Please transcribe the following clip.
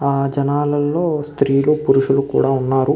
ఆ జనాలలో స్త్రీలు పురుషులు కూడా ఉన్నారు.